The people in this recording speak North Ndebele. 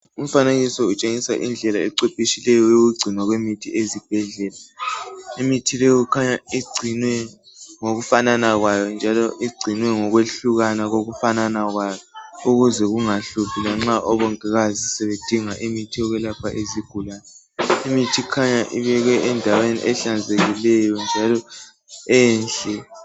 Umfanekiso utshengisa indlela ecwephetshekileyo yokugcinwa kwemithi ezibhedlela. Imithi ile kukhanya igcinwe ngokufanana kwayo, njalo igcinwe ngokwehlukana kokufanana kwayo. Ukuze kungahluphi nxa omongikazi sebedinga imithi yokwelapha izigulane. Imithi kukhanya ibekwe endaweni ehlanzekileyo, njalo enhle.